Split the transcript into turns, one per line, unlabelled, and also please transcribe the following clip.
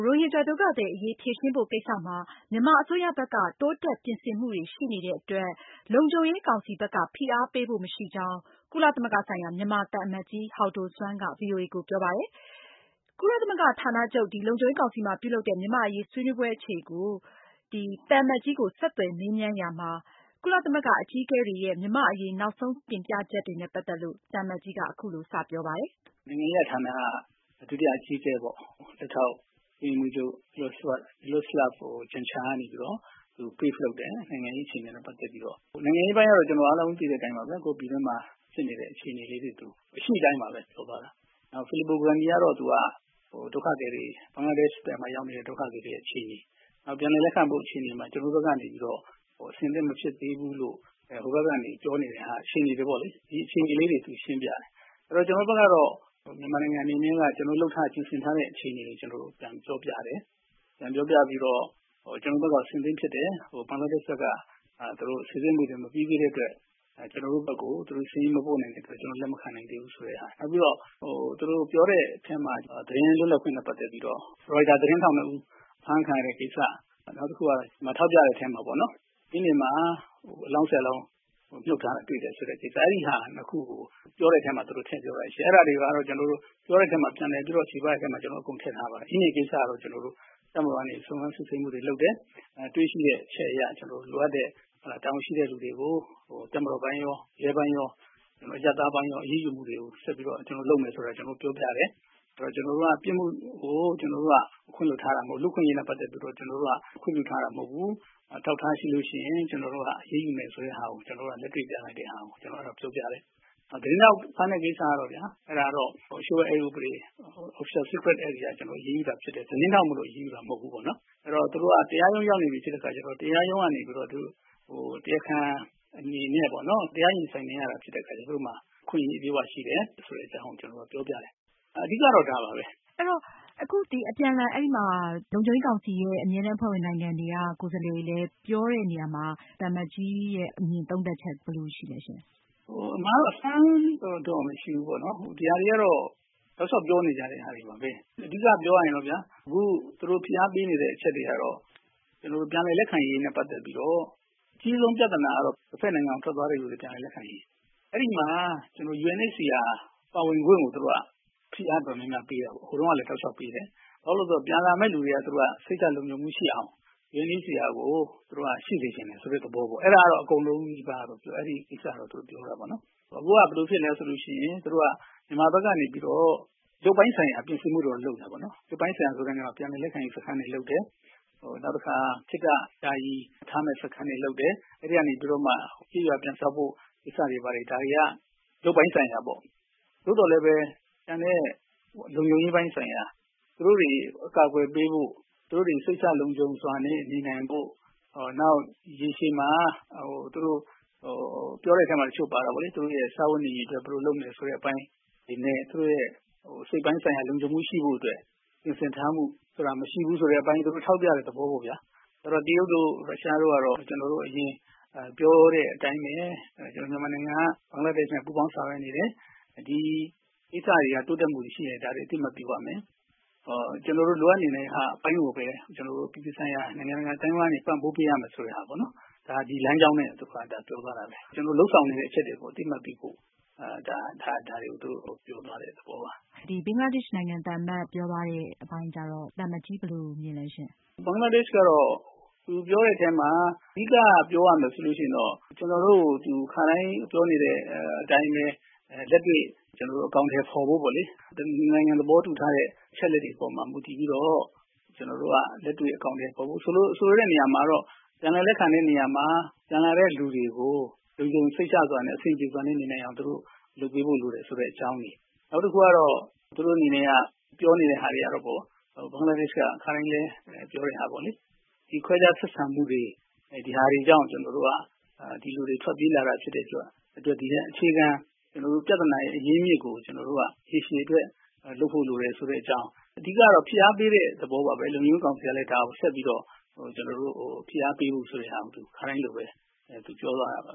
ရိုဟင်ဂျာဒုက္ခသည်အရေး ဖြေရှင်းဖို့ကိစ္စမှာ မြန်မာအစိုးရဘက်က တိုးတက်ပြင်ဆင်မှုတွေ ရှိနေတဲ့အတွက် လုံခြုံရေးကောင်စီဘက်က ဖိအားပေးဖို့ မရှိကြောင်း ကုလသမဂ္ဂဆိုင်ရာ မြန်မာသံအမတ်ကြီး ဟောက်ဒိုဆွမ်းက ဗွီအိုအေကိုပြောပါတယ်။ မနေ့ အင်္ဂါနေ့က နယူးယောက် ကုလသမဂ္ဂဌာနချုပ် လုံခြုံရေးကောင်စီမှာပြုလုပ်တဲ့ မြန်မာ့အရေး ဆွေးနွေးပွဲ အခြေအနေကို ဗွီအိုအေက ဆက်သွယ်မေးမြန်းရာမှာ ကုလသမဂ္ဂအကြီးအကဲတွေရဲ့ မြန်မာ့အရေး နောက်ဆုံး တင်ပြချက်တွေနဲ့ ပတ်သက်လို့ သံအမတ်ကြီးက အခုလို စပြောပါတယ်။
နိုင်ငံရေးရာ ဌာန ဒုတိယ အကြီးအကဲပေ့ါ လက်ထောက် အတွင်းရေးမှူးချုပ် Miroslav Jenca က Brief လုပ်တယ်။ နိုင်ငံရေး အခြေအနေနဲ့ ပတ်သက်ပြီးတော့။ နိုင်ငံရေး အခြေအနေကတော့ အားလုံး သိတဲ့ အတိုင်းပါဘဲ။ ကိုယ့်ပြည်တွင်းမှာ ဖြစ်နေတဲ့ အခြေအနေလေးတွေကို အရှိကို အရှိအတိုင်းပါဘဲ ပြောသွားတာ။ နောက် Fillipo Grande ကတော့ သူက ဒုက္ခသည်တွေ ဘင်္ဂလားဒေရှ့်ဘက်မှာ ရောက်နေတဲ့ ဒုက္ခသည်တွေ အခြေအနေ၊ နောက် ပြန်လည်လက်ခံဖို့ အခြေအနေမှာ ကျနော်တို့ ဘက်ကနေပြီးတော့ အဆင်သင့် မဖြစ်သေးဘူးလို့ ဟိုဘက်ကနေ ပြောနေတဲ့ဟာ အခြေအနေတွေပေါ့လေ။ ဒီအခြေအနေလေးတွေ သူရှင်းပြတယ်။ ကျနော်တို့ ဘက်ကတော့ မြန်မာနိုင်ငံ အနေနဲ့ ကျနော်တို့ လုပ်ထားတဲ့ ပြင်ဆင်ထားတဲ့ အခြေအနေတွေကို ကျနော်တို့ ပြန်ပြောပြတယ်။ ပြန်ပြောပြပြီးတော့ ကျနော်တို့ ဘက်က အဆင်သင့် ဖြစ်တယ်။ ဘင်္ဂလားဒေရှ့်ဘက်က စိစစ်မှုတွေ မပြီးသေးတဲ့ အတွက် ကျနော်တို့ ဘက်ကို သူတို့ စာရင်းမပို့တဲ့ အတွက် ကျနော်တို့ လက်မခံနိုင်သေးဘူး ဆိုတဲ့ဟာ။ နောက်ပြီးတော့ ဟို သူတို့ ပြောတဲ့ အထဲမှာ သတင်းလွတ်လပ်ခွင့်နဲ့ ပတ်သက်ပြီးတော့ Reuters သတင်းထောက် နှစ်ဦး အဖမ်းခံရတဲ့ ကိစ္စ၊ နောက်တခုက ထောက်ပြတဲ့ အထဲမှာပေါ့နော် အင်းဒင်မှာ အလောင်း ၁၀ လောင်း မြှုပ်ထားတာ တွေ့တယ်ဆိုတဲ့ ကိစ္စ အဲဒီ နှစ်ခုကို ပြောတဲ့အထဲမှာ သူတို့ ထည့်ပြောတာရှိတယ်။ အဲဒါတွေကတော့ ကျနော်တို့ ပြောတဲ့အထဲမှာ ပြန်လည်ချေပတဲ့ အထဲမှာ အကုန်ထည့်ထားပါတယ်။ အင်းဒင်ကိစ္စကိုတော့ ကျနော်တို့ တပ်မတော်ကနေ စုံစမ်းစစ်ဆေးမှုတွေ လုပ်တယ်။ တွေ့ရှိတဲ့ အချက်တွေ အရ ကျနော်တို့လိုအပ်တဲ့ တာဝန်ရှိတဲ့ လူတွေကို တပ်မတော်ပိုင်းရော၊ ရဲပိုင်းရော၊ အရပ်သားပိုင်းရော အရေးယူမှုတွေကို ဆက်ပြီးတော့ လုပ်မယ်ဆိုတာ ကျနော်တို့ ပြောပြတယ်။ ကျနော်တို့က ပြစ်မှုကို ခွင့်လွှတ်ထားတာ မဟုတ်ဘူး။ လူ့အခွင့်အရေးနဲ့ ပတ်သက်လို့ ကျနော်တို့က ခွင့်ပြုထားတာ မဟုတ်ဘူး။ အထောက်အထားတွေ ရှိလို့ရှိရင် ကျနော်တို့က အရေးယူမယ်ဆိုတဲ့ဟာကို ကျနော်တို့က လက်တွေ့ပြလိုက်တဲ့ဟာကို ကျနော်တို့က ပြောပြတယ်။ နောက် သတင်းထောက် ဖမ်းတဲ့ကိစ္စကတော့ဗျာ အဲဒါကတော့ လ ျှိုဝှက်အက် ဥပဒေ အရ အရေးယူတာ ဖြစ်တယ်။ သတင်းထောက်မို့လို့ အရေးယူတာ မဟုတ်ဘူးပေါ့နော်။ အဲဒီတော့ သူတို့က တရားရုံး ရောက်နေပြီ ဆိုတဲ့ အခါကျတော့ တရားရုံးက နေပြီးတော့ တရားခံ အနေနဲ့ပေါ့နော် တရား ရင်ဆိုင်နေရတာ ဖြစ်တဲ့ အခါကျတော့ သူတို့မှာ အခွင့်အရေး အပြည့်အ၀ ရှိတဲ့ အကြောင်းကို ကျနော်တို့က ပြောပြတယ်။ အဓိက ကတော့ ဒါပါဘဲ။
အဲတော့ အခု ဒီအပြန်အလှန် အဲဒီ လုံခြုံရေးကောင်စီရဲ့ အမြဲတမ်းအဖွဲ့ဝင် နိုင်ငံတွေက ကိုယ်စားလှယ်တွေလည်း ပြောတဲ့နေရာမှာ သံအမတ်ကြီးရဲ့ အမြင်သုံးသပ်ချက် ဘယ်လို ရှိလဲရှင့်။
အမှန်ကတော့ အဆန်းတော့ မရှိဘူးပေါ့နော်။ ဒီဟာတွေကတော့ တောက်လျောက် ပြောနေကြတဲ့ဟာတွေပါဘဲ။ အဓိက ပြောရရင်တော့ဗျာ အခု သူတို့ ဖိအားပေးနေတဲ့အချက်တွေကတော့ ကျနော်တို့ ပြန်လည် လက်ခံရေးနဲ့ ပတ်သက်ပြီးတော့ အကြီးဆုံး ပြသနာကတော့ တဖက်နိုင်ငံကို ထွက်သွားသူတွေ ပြန်လည် လက်ခံရေး။ အဲဒီမှာ UNHCR ပါဝင်ခွင့်ကို သူတို့က ဖိအားအတော်များများ ပေးတာပေါ့။ ဟိုတုန်းကလည်း တောက်လျောက် ပေးတယ်။ ဘာဖြစ်လို့လည်း ဆိုတော့ ပြန်လာမယ့် သူတွေက သူတို့က စိတ်ချလုံခြုံမှု ရှိအောင် UNHCR ကို သူတို့က ရှိစေချင်တယ်ဆိုတဲ့ သဘောပေါ့။ အဲဒါကတော့ အကုန်လုံးနီးပါးက အဲဒီကိစ္စကို သူတို့ ပြောတာပေါ့နော်။ အခုက ဘယ်လို ဖြစ်နေလဲ ဆိုလို့ ရှိရင် သူတို့က မြန်မာဘက်ကနေ ပြီးတော့ ရုပ်ပိုင်းဆိုင်ရာ ပြင်ဆင်မှုတွေတော့ လုပ်နေတယ် ပေါ့နော်။ ရုပ်ပိုင်းဆိုင်ရာ ဆိုတဲ့ နေရာမှာ ပြန်လည်လက်ခံရေး စခန်းတွေ လုပ်တယ်။ နောက်တခါ ခေတ္တ ယာယီထားမယ့် စခန်းတွေ လုပ်တယ်။ အဲဒီကနေပြီးတော့မှ ကျေးရွာ ပြန်ဆောက်ဖို့ ကိစ္စတွေ ဘာတွေ ဒါတွေက ရုပ်ပိုင်းဆိုင်ရာ ကိစ္စတွေပေါ့။ သို့သော်လည်းပဲ ကျန်တဲ့ လုံခြုံရေးပိုင်း ဆိုင်ရာ သူတို့တွေကို အကာအကွယ်ပေးဖို့ သူတို့တွေ စိတ်ချလုံခြုံစွာနဲ့ နေနိုင်ဖို့ နောက် ရေရှည်မှာ သူတို့ ပြောတဲ့ အထဲမှာ တချို့ပါတာပေါ့လေ သူတို့ရဲ့ စားဝတ်နေရေး အတွက် ဘယ်လို လုပ်မလဲ ဆိုတဲ့အပိုင်းတွေ အနေနဲ့ သူတို့ရဲ့ စိတ်ပိုင်းဆိုင်ရာ လုံခြုံမှု ရှိဖို့အတွက် ပြင်ဆင်ထားမှုဆိုတာ မရှိဘူးဆိုတဲ့ အပိုင်း သူတို့ထောက်ပြတဲ့ သဘောပေါ့ဗျာ။ ဆိုတော့ တရုတ်တို့ ရုရှားတို့ကတော့ ထုံးစံအတိုင်းပေ့ါဗျာ အရင် ပြောတဲ့အတိုင်းဘဲ ကျနော်တို့ မြန်မာနိုင်ငံက ဘင်္ဂလားဒေရှ့်နဲ့ ပူးပေါင်း ဆောင်ရွက်နေတယ်။ ဒီကိစ္စတွေက တိုးတက်မှုတွေ ရှိတယ်။ ဒါတွေ အသိအမှတ်ပြုရမယ်။ ကျနော်တို့ လိုအပ်နေတဲ့ အပိုင်းကိုဘဲ အပြည်ပြည်ဆိုင်ရာ နိုင်ငံတကာ အသိုင်းအဝိုင်းက ပံ့ပိုးပေးရမယ် ဆိုတဲ့ဟာပေါ့နော်။ ဒီလမ်းကြောင်းနဲ့ သူတို့က ပြောသွားတာဘဲ။ ကျနော်တို့ လုပ်ဆောင်နေတဲ့ အချက်တွေကို အသိအမှတ်ပြုဖို့ ဒါတွေကို သူတို့ ပြောသွားတဲ့ သဘောပါ။
ဒီ ဘင်္ဂလားဒေရှ့်နိုင်ငံသံအမတ် ပြောသွားတဲ့ အပိုင်းကျတော့ သံအမတ်ကြီး ဘယ်လို မြင်လဲရှင့်။
ဘင်္ဂလားဒေရှ့်ကတော့ သူပြောတဲ့ အထဲမှာ အဓိက ပြောသွားတာ ဆိုလို့ ရှိရင်တော့ ကျနော်တို့ကို သူ ခါတိုင်း ပြောနေတဲ့အတိုင်းဘဲ လက်တွေ့ကျနော်တို့ အကောင်အထည် ဖော်ဖို့ ပေါ့လေ။ နှစ်နိုင်ငံ သဘောတူထားတဲ့ အချက်အလက်တွေ အပေါ်မှာ မူတည်ပြီးတော့ ကျနော်တို့က လက်တွေ့ အကောင်အထည်ဖော်ဖို့။ ဆိုလိုတဲ့ နေရာမှာတော့ ပြန်လည်လက်ခံတဲ့ နေရာမှာ ဝင်လာတဲ့လူတွေကို လုံခြုံ စိတ်ချစွာနဲ့ အဆင်ပြေစွာနဲ့နေနိုင်အောင် သူတို့ လုပ်ပေးဖို့ လိုတယ်ဆိုတဲ့အကြောင်းတွေ။ နောက်တခုကတော့ သူတို့ အနေနဲ့က ပြောနေတဲ့ ဟာတွေကတော့ပေါ့ ဘင်္ဂလားဒေရှ့်ဘက်က ခါတိုင်းလည်း ပြောတဲ့ဟာပေါ့လေ ဒီခွဲခြားဆက်ဆံမှုတွေ ဒီဟာတွေကြောင့် ကျနော်တို့က ဒီလိုတွေ ထွက်ပြေးလာတာ ဖြစ်တဲ့အတွက် အခြေခံ ပြသနာရဲ့ အရင်းအမြစ်ကို ကျနော်တို့က ရေရှည်အတွက် လုပ်ဖို့ လိုတယ် ဆိုတဲ့အကြောင်း။ အဓိကတော့ ဖိအားပေးတဲ့ သဘောပါဘဲ။ လုံခြုံရေး ကောင်စီကလည်း ဒါကို ဆက်ပြီးတော့ ကျနော်တို့ကို ဖိအားပေးဖို့ ခါတိုင်းလိုဘဲ သူပြောသွားတာပါ